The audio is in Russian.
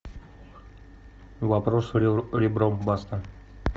вопрос ребром баста